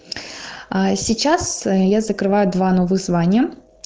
сейчас я закрываю два новых звания